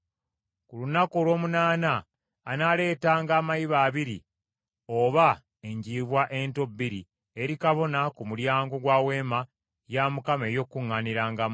Ku lunaku olw’omunaana anaaleetanga amayiba abiri oba enjiibwa ento bbiri eri kabona ku mulyango gwa Weema ey’Okukuŋŋaanirangamu.